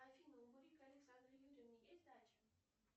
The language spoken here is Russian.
афина у мурико александры юрьевны есть дача